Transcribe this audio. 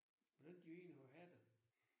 Hvordan de egentlig må have det